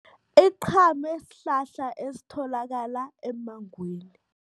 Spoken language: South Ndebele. Iqhame sihlahla esitholakala emmangweni.